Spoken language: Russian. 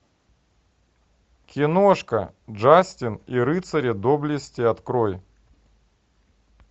киношка джастин и рыцари доблести открой